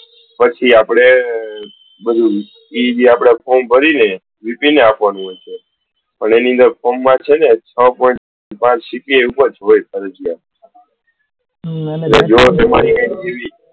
પછી આપડે એ form ભરી ને આપવાનું રેહશેઅને એમાં આપને છ point પાંચ CPI જોયે ફરજિયાત એટલે જો